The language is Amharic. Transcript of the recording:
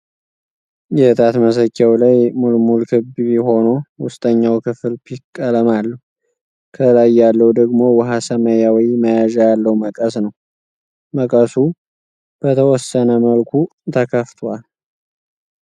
የእጣት መሰኪያዉ ላይ ሙልሙል ክብ ሆኖ ዉስጠኛዉ ክፍል ፒክ ቀለም አለዉ። ከላይ ያለዉ ደግሞ ዉኃ ሰማያዊ መያዣ ያለዉ መቀስ ነዉ። መቀሱ በተወሰነ መልኩ ተከፍቷል።